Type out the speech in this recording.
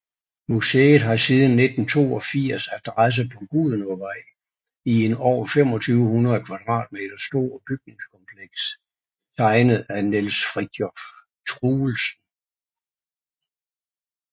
Museet har siden 1982 adresse på Gudenåvej i en over 2500 kvm stor bygningskompleks tegnet af Niels Fritiof Truelsen